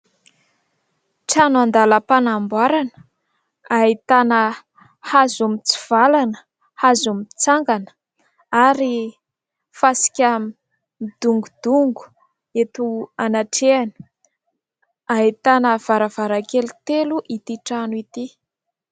Trano an-dalam-panamboarana ahitana hazo mitsivalana, hazo mitsangana, ary fasika midongodongo eto anatrehany; ahitana varavarankely telo ity trano ity.